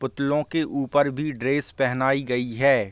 पुतलों के ऊपर भी ड्रेस पेहनाई गयी हैं।